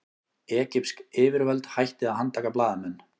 Egypsk yfirvöld hætti að handtaka blaðamenn